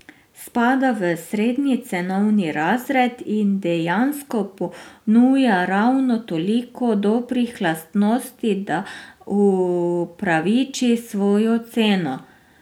Spada v srednji cenovni razred in dejansko ponuja ravno toliko dobrih lastnosti, da upraviči svojo ceno.